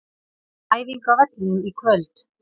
Æfing á vellinum í kvöld.